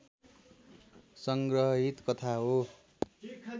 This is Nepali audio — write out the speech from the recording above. सङ्ग्रहित कथा हो